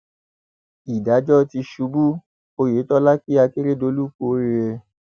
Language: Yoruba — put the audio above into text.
ìdájọ tìṣubú oyetola kí adélèkẹ kú oríire